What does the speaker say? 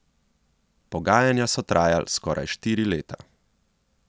Pogajanja so trajal skoraj štiri leta.